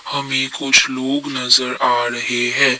हमें कुछ लोग नजर आ रहे हैं।